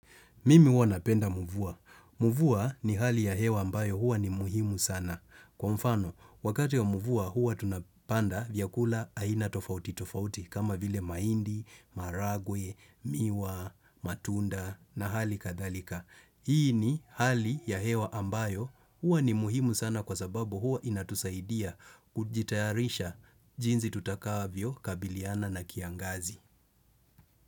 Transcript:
Mimi hua napenda mvua. Mvua ni hali ya hewa ambayo huwa ni muhimu sana. Kwa mfano, wakati ya mvua huwa tunapanda vyakula aina tofauti tofauti kama vile mahindi, maharagwe, miwa, matunda na hali kadhalika. Hii ni hali ya hewa ambayo huwa ni muhimu sana kwa sababu huwa inatusaidia kujitayarisha jinsi tutakavyokabiliana na kiangazi.